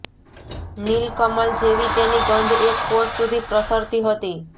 નીલકમલ જેવી તેની ગંધ એક કોશ સુધી પ્રસરતી હતી